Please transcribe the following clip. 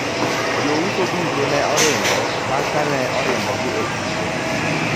jouso duto ne oringo bang' kane le orimbogi e siro